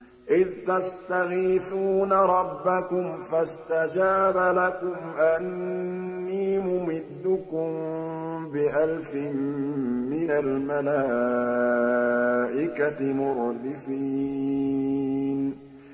إِذْ تَسْتَغِيثُونَ رَبَّكُمْ فَاسْتَجَابَ لَكُمْ أَنِّي مُمِدُّكُم بِأَلْفٍ مِّنَ الْمَلَائِكَةِ مُرْدِفِينَ